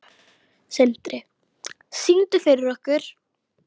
Sindri: Syngdu fyrir okkur?